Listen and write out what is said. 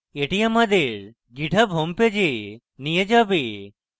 এটি আমাদের github homepage we নিয়ে যাবে